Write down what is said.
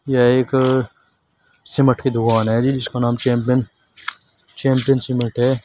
यह एक अ सीमेंट की दुकान है जी इसका नाम चैंपियन चैंपियन सीमेंट है।